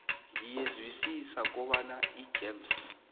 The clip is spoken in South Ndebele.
ngiyezwisisa kobana igems